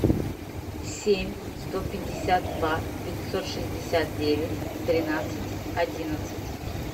семь сто пятьдесят два пятьсот шестьдесят девять тринадцать одиннадцать